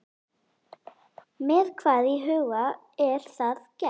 Með hvað í huga er það gert?